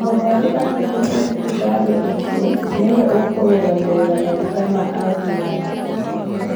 Mũrwaru angĩtũmwo thibitarĩ ĩngĩ, nĩwe ũkũrũgamĩrĩra magũta ma ambulanĩcĩ